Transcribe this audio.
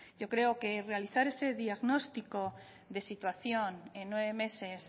yo creo que realizar ese diagnóstico de situación en nueve meses